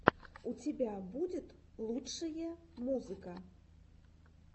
у тебя будет лучшие музыка